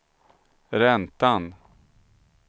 räntan